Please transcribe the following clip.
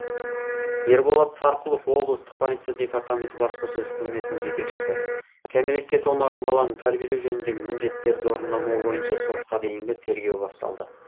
ерболат сарқұлов облыстық полиция департаменті баспасөз қызметінің жетекшісі кәмелетке толмаған баланы тәрбиелеу жөніндегі міндеттерді орындамау бойынша сотқа дейінгі тергеу басталды